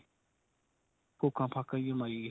Fuca ਫਾਕਾ ਜੀ ਮਾਰੀਗਏ.